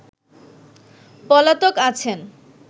পলাতক আছেন